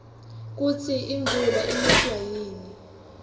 kusi imvula iniswa yini